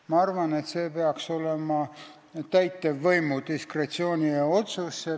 Ma arvan, et see peaks olema täitevvõimu diskretsiooniotsus.